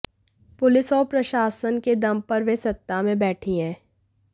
police और प्रशासन के दम पर वे सत्ता में बैठी हैं